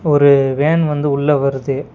ஒரு வேன் வந்து உள்ள வருது.